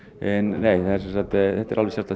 nei þetta er alveg sérstakt